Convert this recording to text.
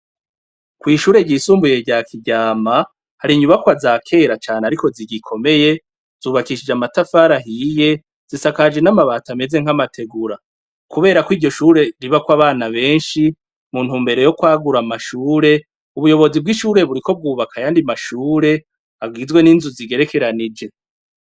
Kw'ishure ryisumbuye rya Kiryama, hari inyubakwa za kera cane ariko zigikomeye zubakishije amatafari ahiye, zisakaje n'amabati ameze nk'amategura. Kubera ko iryo shure ribako abana benshi, mu ntumbero yo kwagura amashure, ubuyobozi bw'ishure buriko bwubaka ayandi mashure, agizwe n'inzu zigerekeranije.